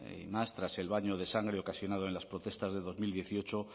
y más tras el baño de sangre ocasionado en las protestas de dos mil dieciocho